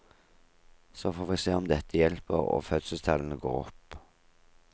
Så får vi se om dette hjelper og fødselstallene går opp.